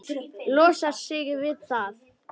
Losar sig við það.